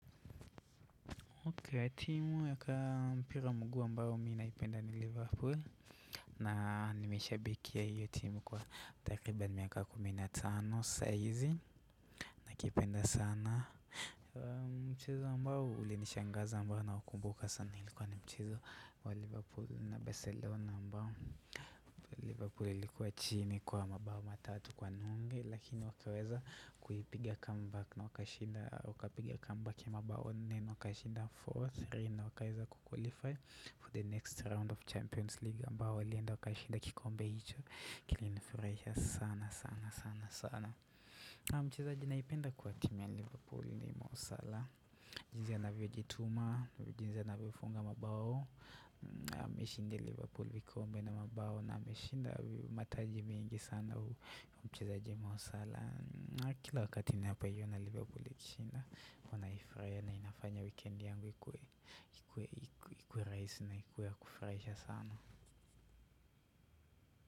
Kwa timu yaka mpira mguu ambayo minaipenda ni liverpool. Na nimeshabikia hiyo timu kwa takriban miaka kumi na tano saizi na kipenda sana Mchezo ambao ulinishangaza ambao na wakumbuka sana ilikuwa ni mchezo wa liverpool na Barcelona ambao Liverpool ilikuwa chini kwa mabao matatu kwa nunge lakini wakaweza kuipiga comeback na wakashinda. Wakapiga comeback ya mabao nne wakashinda 4-3 na wakaeza ku qualify For the next round of Champions League ambao walienda wakashinda kikombe hicho Kilinifurahisha sana sana sana sana na mchezaji naipenda kwa timu ya Liverpool ni Mosalah. Jinzi anavyojituma, jinzi anavyofunga mabao Ameshindia Liverpool vikombe na mabao na amishinda mataji mengi sana hu hu mchezaji Mosalah na kila wakati napoiona Liverpool ikishinda huwa naifurahia na inafanya wikendi yangu ikuwe ikuwe rahisi na ikuwe ya kufuraisha sana.